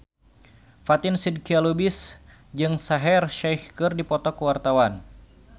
Fatin Shidqia Lubis jeung Shaheer Sheikh keur dipoto ku wartawan